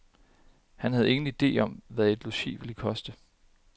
Han havde ingen ide om, hvad et logi ville koste.